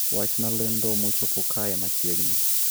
Wachna lendo mochopo kae machiegni